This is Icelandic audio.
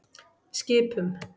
Skipum